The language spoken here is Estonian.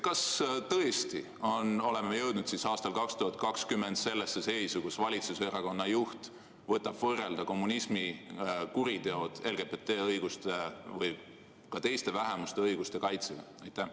Kas me tõesti oleme jõudnud aastal 2020 sellesse seisu, kus valitsuserakonna juht võib võrrelda kommunismi kuritegusid LGBT või ka teiste vähemuste õiguste kaitsega?